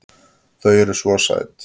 Þau eru SVO SÆT!